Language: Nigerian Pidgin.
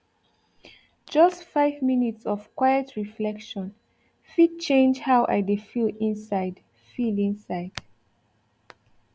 just five minutes of quiet reflection fit change how chai i dey feel inside feel inside